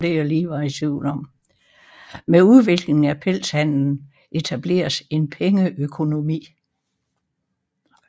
Med udviklingen af pelshandelen etableredes en pengeøkonomi